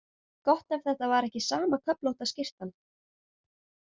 Gott ef þetta var ekki sama köflótta skyrtan.